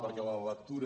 perquè la lectura